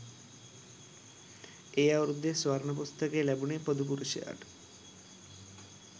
ඒ අවුරුද්දෙ ස්වර්ණ පුස්තකය ලැබුණෙ පොදු පුරුෂයාට